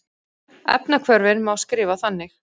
Efnahvörfin má skrifa þannig